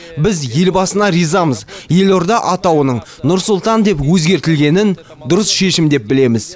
біз елбасына ризамыз елорда атауының нұр сұлтан деп өзгертілгенін дұрыс шешім деп білеміз